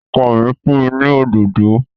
Ọkọ mi fún mi ní òdòdó